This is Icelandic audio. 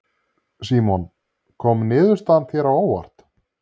Símon: Kom niðurstaðan þér á óvart?